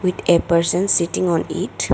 with a person sitting on it.